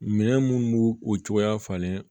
Minɛn munnu b'u o cogoya falen